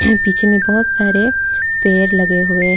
पीछे में बहुत सारे पेड़ लगे हुए हैं।